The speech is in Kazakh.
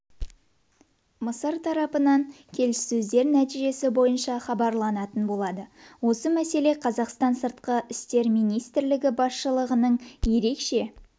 мысыр тарапымен келіссөздер нәтижесі бойынша хабарланатын болады осы мәселе қазақстан сыртқы істер министрлігі басшылығының ерекше